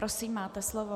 Prosím, máte slovo.